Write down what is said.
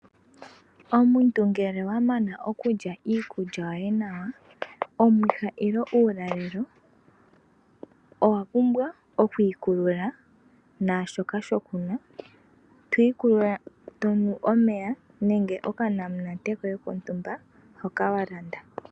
Omuntu ngele wamana okulya iikulya yoye nawa, omwiha nenge ulalelo, owa pumbwa okwiikulula naashoka shokunwa. Twii kulula tonu omeya nenge okanamunate kontumba.